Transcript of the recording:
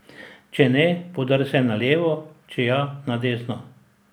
Če ne, podrsaj na levo, če ja, na desno.